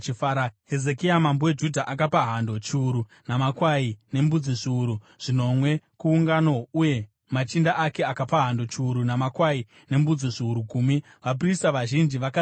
Hezekia mambo weJudha akapa hando chiuru namakwai nembudzi zviuru zvinomwe kuungano uye machinda ake akapa hando chiuru namakwai nembudzi zviuru gumi. Vaprista vazhinji vakazvinatsa.